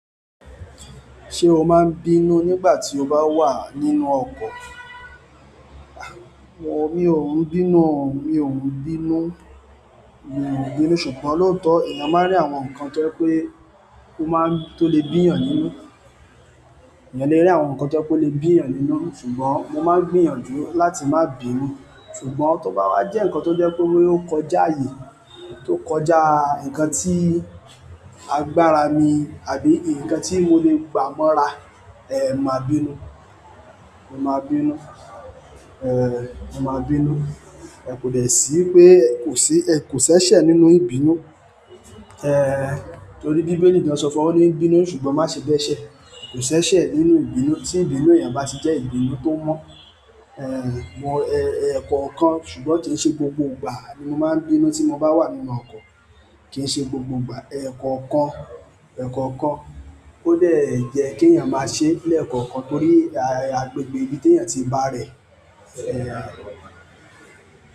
Ṣé o máa ń bínú nígbà tí o bá wà nínú ọkọ̀? A! Mo ní ò ń bínú, mi ò ń bínú, mi ò ń bínú. Ṣùgbọ́n lóòótọ́, èèyàn máa ń rí àwọn nǹkan tó pé kó máa ń tó lè bíyàn nínú. Ẹ̀yàn lè rí àwọn nǹkan tó pé ó lè bíyàn nínú, ṣùgbọ́n mo máa ń gbìyànjú láti má bí mí. Ṣùgbọ́n tó bá wá jẹ́ ǹkan tó jẹ́ pé ó kọjá ààyè, tó kọjá ǹkan tí agbára mi àbí ǹkan tí mo lè gbà mọ́ra, eh, màá bínú, màá bínú. Eh, màá bínú. Ẹ̀ kò dẹ̀ sí pé kò sí, ẹ kò ṣẹ́ṣẹ nínú ìbínú. Eh, torí bí Bíbélì ti ń sọ fún wa ní bínú, ṣùgbọ́n má ṣe dẹ́ṣẹ̀. Kò ṣe éṣe nínú ìbínú tí ìbínú èèyàn bá ti jẹ́ ìbínú tó mọ́. Eh, mo, eh, ẹ̀ẹ̀kọ̀kan. Ṣùgbọ́n kì í ṣe gbogbo ìgbà ni mo máa ń bínú tí mo bá wà nínú ọkọ̀, kì í ṣe gbogbo ìgbà. Ẹ̀ẹ̀kọ̀kan, ẹ̀ẹ̀kọ̀kan. Ó dẹ̀ jẹ́ kí ẹ̀yàn máa ṣẹ́ lẹ́ẹ̀kọ̀kan torí agbègbè ibi tí èèyàn ti bá rẹ̀, eh.